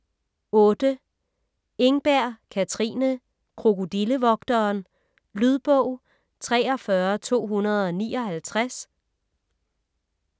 Engberg, Katrine: Krokodillevogteren Lydbog 43259